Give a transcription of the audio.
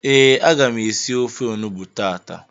Ee, aga m esi ofe onugbu tata